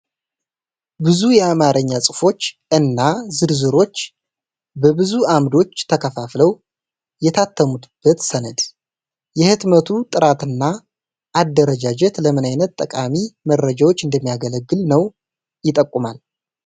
ብዙ የአማርኛ ጽሑፎች እና ዝርዝሮች በብዙ አምዶች ተከፋፍለው የታተሙበት ሰነድ፣ የህትመቱ ጥራትና አደረጃጀት ለምን አይነት ጠቃሚ መረጃዎች እንደሚያገለግል ነው ይጠቁማል?